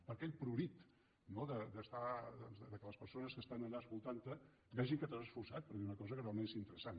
per aquell prurit no que les persones que estan allà escoltant te vegin que t’has esforçat per dir una cosa que realment és interessant